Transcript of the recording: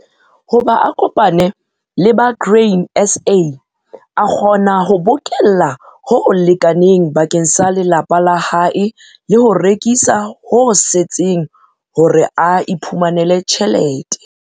Hoba a kopane le ba Grain SA, a kgona ho bokella ho lekaneng bakeng sa lelapa la hae le ho rekisa ho setseng hore a iphumanele tjhelete.